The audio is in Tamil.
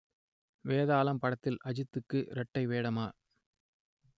வேதாளம் படத்தில் அஜித்துக்கு இரட்டை வேடமா